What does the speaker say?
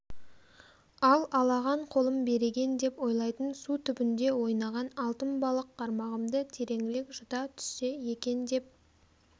ал алаған қолым береген деп ойлайтын су түбінде ойнаған алтын балық қармағымды тереңірек жұта түссе екен деп